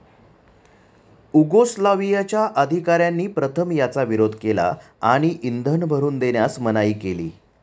उगोस्लावियाच्या अधिकाऱ्यांनी प्रथम याचा विरोध केला आणि इंधन भरून देण्यास मनाई केली.